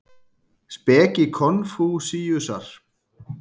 Speki Konfúsíusar.